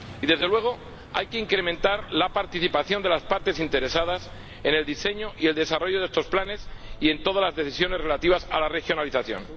Y, desde luego, hay que incrementar la participación de las partes interesadas en el diseño y el desarrollo de estos planes y en todas las decisiones relativas a la regionalización.